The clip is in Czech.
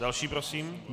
Další prosím.